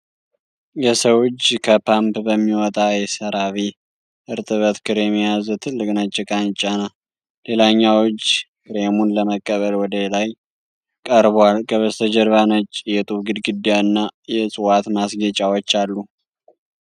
የሰው እጅ ከፓምፕ በሚወጣ የሰራቬ እርጥበት ክሬም የያዘ ትልቅ ነጭ ዕቃን ይጫናል። ሌላኛው እጅ ክሬሙን ለመቀበል ወደ ላይ ቀርቧል። ከበስተጀርባ ነጭ የጡብ ግድግዳ እና የእፅዋት ማስጌጫዎች አሉ።